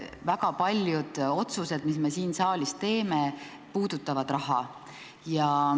Väga paljud otsused, mis me siin saalis teeme, puudutavad raha.